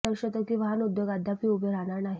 हे दर्शवते की वाहन उद्योग अद्यापही उभे राहणार नाही